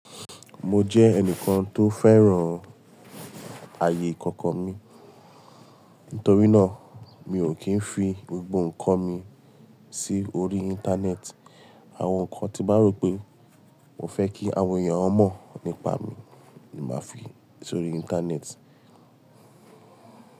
Mo jẹ́ ẹnìkan tó fẹ́ràn ààyè ìkọ̀kọ̀ mi. Nítorí náà, mi ò kí ń fi gbogbo ǹkan mi sí orí Íńtánẹ́ẹ̀tì. Àwọn ǹkan tí mo rò pé mo fẹ́ kí àwọn èèyàn mọ̀ nípa mi ni máa fi sórí Íńtánẹ́ẹ̀tì.